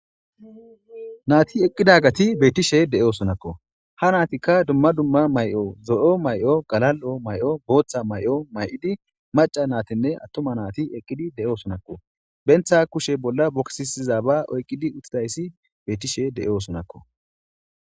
naati eqqidagati beettishe de'osonakko ha naatikka dumma dumma may'o zo'o may'o galal'o may'o booththa may'o may'idi maca naatinne attoma naati eqqidi de'oosonakko benta kushe bolla bokisiza ba oyqidi uttidayssi beettishe de'osonakko